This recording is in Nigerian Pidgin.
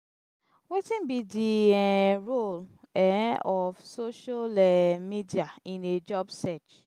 wetin be di um role um of social um media in a job search?